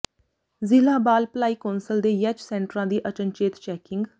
ਜ਼ਿਲ੍ਹਾ ਬਾਲ ਭਲਾਈ ਕੌਂਸਲ ਦੇ ਯੈਚ ਸੈਂਟਰਾਂ ਦੀ ਅਚਨਚੇਤ ਚੈਕਿੰਗ